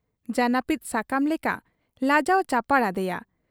ᱡᱟᱹᱱᱟᱹᱯᱤᱫ ᱥᱟᱠᱟᱢ ᱞᱮᱠᱟ ᱞᱟᱡᱟᱣ ᱪᱟᱯᱟᱲ ᱟᱫᱮᱭᱟ ᱾